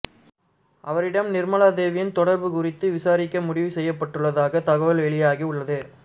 அவரிடம் நிர்மலாதேவியின் தொடர்பு குறித்து விசாரிக்க முடிவு செய்யப்பட்டுள்ளதாக தகவல் வெளியாகி உள்ளது